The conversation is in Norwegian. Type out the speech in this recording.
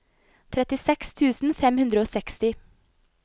trettiseks tusen fem hundre og seksti